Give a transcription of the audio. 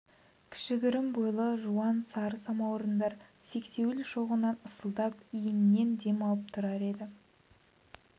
кішігірім кісі бойлы жуан сары самаурындар сексеуіл шоғынан ысылдап иінінен дем алып тұрар еді